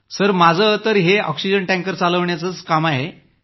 sir माझं तर हे ऑक्सिजन टँकर चालवण्याचं काम आहे